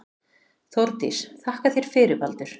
Þórdís: Þakka þér fyrir Baldur.